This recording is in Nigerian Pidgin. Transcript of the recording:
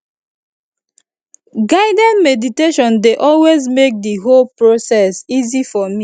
guided meditation dey always make the whole process easy for me